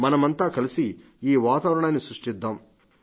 మనమంతా కలిసి ఈ వాతావరణాన్ని సృష్టిద్దాం